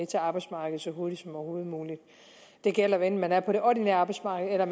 til arbejdsmarkedet så hurtigt som overhovedet muligt det gælder hvad enten man er på det ordinære arbejdsmarked eller